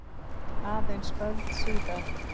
Aðeins öld síðar.